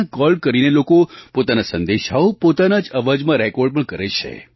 ત્યાં કૉલ કરીને લોકો પોતાના સંદેશાઓ પોતાના અવાજમાં રેકૉર્ડ પણ કરે છે